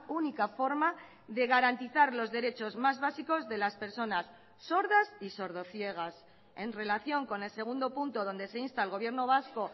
única forma de garantizar los derechos más básicos de las personas sordas y sordo ciegas en relación con el segundo punto donde se insta al gobierno vasco